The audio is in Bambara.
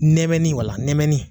Nɛmɛnnin wala la nɛmɛnnin.